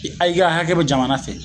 A i ka akɛ be jamana fɛ